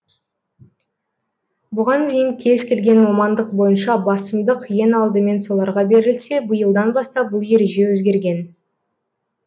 бұған дейін кез келген мамандық бойынша басымдық ең алдымен соларға берілсе биылдан бастап бұл ереже өзгерген